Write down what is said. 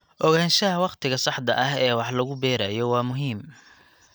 Ogaanshaha waqtiga saxda ah ee wax lagu beerayo waa muhiim.